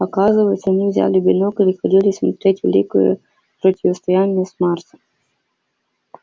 оказывается они взяли бинокль и ходили смотреть великое противостояние с марсом